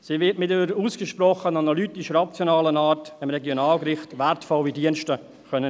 Sie wird dem Regionalgericht mit ihrer ausgesprochen analytisch-rationalen Art wertvolle Dienste erweisen können.